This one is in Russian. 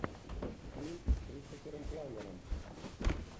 фильм с кристофером пламмером